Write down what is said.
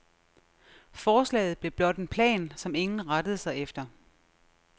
Forslaget blev blot en plan, som ingen rettede sig efter.